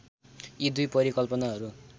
यी दुई परिकल्पनाहरू